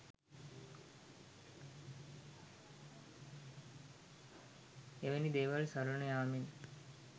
එවැනි දේවල් සරණ යාමෙන්